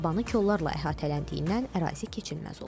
Yabani kollarla əhatələndiyindən ərazi keçilməz olub.